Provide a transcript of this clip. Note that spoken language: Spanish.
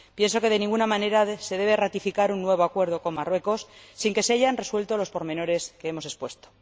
Pienso que de ninguna manera se debe ratificar un nuevo acuerdo con Marruecos sin que se hayan resuelto los pormenores que hemos expuesto.